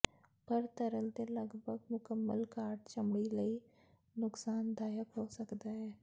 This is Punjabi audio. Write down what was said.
ਪਰ ਤਰਲ ਦੇ ਲਗਭਗ ਮੁਕੰਮਲ ਘਾਟ ਚਮੜੀ ਲਈ ਨੁਕਸਾਨਦਾਇਕ ਹੋ ਸਕਦਾ ਹੈ